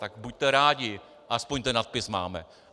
Tak buďte rádi, aspoň ten nadpis máme.